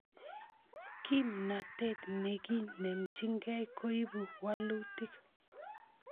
Kimnatet ne kinemchingei koipu walutik